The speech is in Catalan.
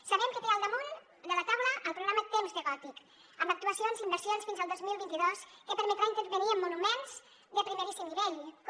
sabem que té al damunt de la taula el programa temps de gòtic amb actuacions i inversions fins al dos mil vint dos que permetrà intervenir en monuments de primeríssim nivell com